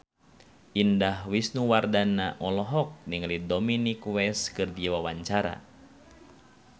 Indah Wisnuwardana olohok ningali Dominic West keur diwawancara